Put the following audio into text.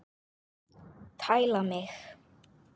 Tæla mig!